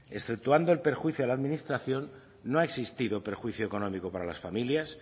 exceptuando el perjuicio a la administración no ha existido perjuicio económico para las familias